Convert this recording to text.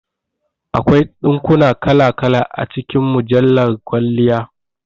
Akwai dinkuna kala kala a cikin mujjala kwalliya